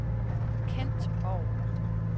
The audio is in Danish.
Kent Borg